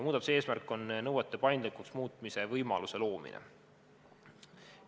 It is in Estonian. Muudatuse eesmärk on nõuete paindlikuks muutmise võimaluse loomine.